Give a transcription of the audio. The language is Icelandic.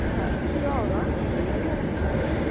Þegar ég var ellefu ára fór ég að lokast.